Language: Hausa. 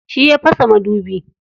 Shi ya fasa madubi.